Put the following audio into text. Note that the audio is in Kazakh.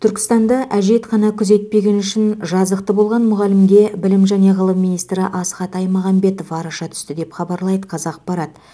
түркістанда әжетхана күзетпегені үшін жазықты болған мұғалімге білім және ғылым министрі асхат аймағамбетов араша түсті деп хабарлайды қазақпарат